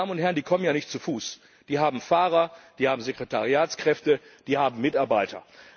Meine Damen und Herren, die kommen ja nicht zu Fuß, die haben Fahrer, die haben Sekretariatskräfte, die haben Mitarbeiter.